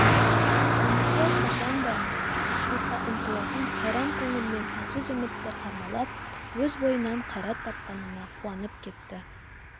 анасы қашан да жақсылыққа ұмтылатын қайран көңілмен әлсіз үмітті қармалап өз бойынан қайрат тапқанына қуанып кетті